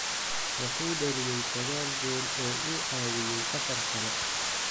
Wuxuu dhaliyay saqal gool oo uu caawiyay afar kale.